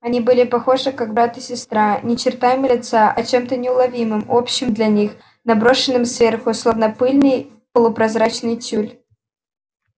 они были похожи как брат и сестра не чертами лица а чем-то неуловимым общим для них наброшенным сверху словно пыльный полупрозрачный тюль